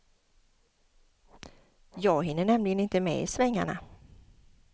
Jag hinner nämligen inte med i svängarna.